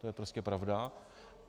To je prostě pravda.